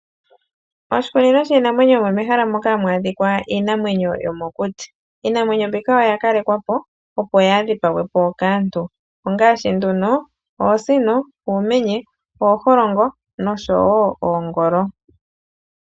Oshikunino shiinamwenyo omo mehala moka hamu adhika iinamwenyo yomokuti, iinamwenyo mbika oya kalekwa po opo yaadhipagwe kaantu ongaashi nduno oosino, uumenye, ooholongo nosho woo oongolo.